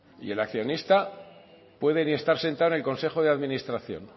el accionista puede ni estar sentado en el consejo de administración